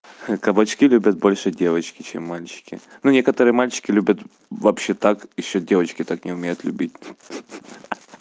кабачки любят больше девочки чем мальчики ну некоторые мальчики любят вообще так ещё девочки так не умеют любить